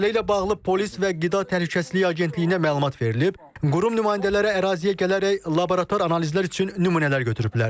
Məsələ ilə bağlı polis və qida təhlükəsizliyi agentliyinə məlumat verilib, qurum nümayəndələri əraziyə gələrək laborator analizlər üçün nümunələr götürüblər.